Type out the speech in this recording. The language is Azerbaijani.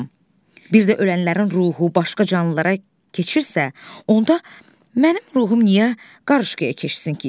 Bir də ölənlərin ruhu başqa canlılara keçirsə, onda mənim ruhum niyə qarışqaya keçsin ki?